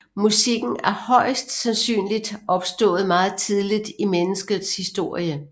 Musikken er højst sandsynligt opstået meget tidligt i menneskets historie